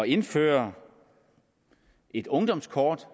indføre et ungdomskort